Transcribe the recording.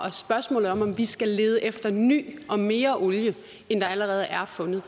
spørgsmålet om om vi skal lede efter ny og mere olie end der allerede er fundet